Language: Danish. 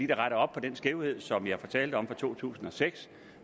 retter op på den skævhed som jeg fortalte om fra to tusind og seks